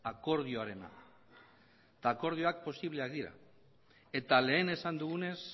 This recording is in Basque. akordioarena eta akordioak posibleak dira eta lehen esan dugunez